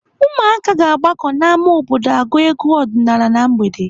Ụmụaka ga-agbakọ n'ámá obodo agụ egwu ọdịnaala na mgbede.